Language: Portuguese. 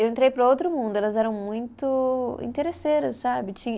Eu entrei para outro mundo, elas eram muito interesseiras, sabe? Tinha